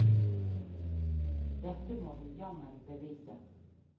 Dette må du jammen bevise!